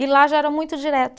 E lá já era muito direto.